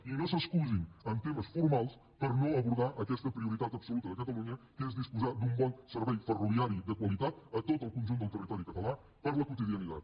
i no s’excusin en temes formals per no abordar aquesta prio ritat absoluta de catalunya que és disposar d’un bon servei ferroviari de qualitat a tot el conjunt del territori català per a la quotidianitat